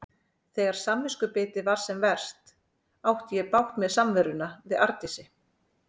Þegar samviskubitið var sem verst átti ég bágt með samveruna við Arndísi.